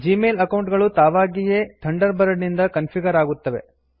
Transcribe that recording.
Gmail account ಗಳು ತಾವಗಿಯೇ thunderbird ನಿಂದ ಕನ್ಫಿಗರ್ ಆಗುತ್ತವೆ